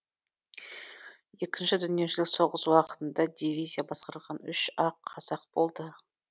екінші дүниежүзілік соғыс уақытында дивизия басқарған үш ақ қазақ болды